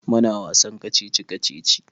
Muna wasan kacici-kacici.